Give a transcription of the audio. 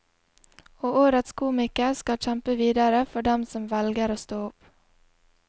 Og årets komiker skal kjempe videre for dem som velger å stå opp.